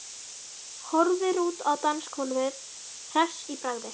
Horfir út á dansgólfið hress í bragði.